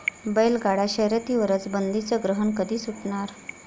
बैलगाडा शर्यतीवरचं बंदीचं ग्रहण कधी सुटणार?